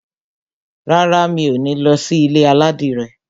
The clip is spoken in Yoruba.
Rárá, mi ò ní lọ sí ilé aládìrẹ.